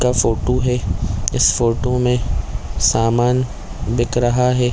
-- का फोटो है इस फोटो में सामान दिख रहा है।